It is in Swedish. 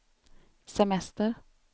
semester